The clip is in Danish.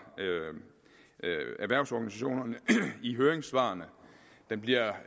erhvervsorganisationerne i høringssvarene den bliver